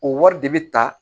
O wari de bɛ ta